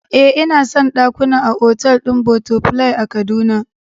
Eh, ina son dakuna a otal din Butterfly a kaduna